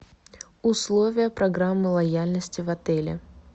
условия программы лояльности в отеле